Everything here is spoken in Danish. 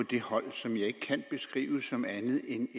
det hold som jeg ikke kan beskrive som andet end